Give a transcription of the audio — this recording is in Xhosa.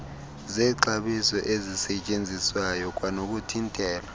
zexabiso ezisetyenziswayo kwanokuthintela